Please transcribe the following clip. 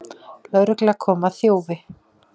Lögregla kom að þjófi